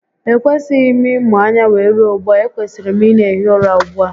E kwesịghị m ịmụ anya wee rue ugbua, e kwesiri m ị na ehi ụra ugbu a